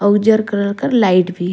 और उजर कलर कर लाइट भी हे ।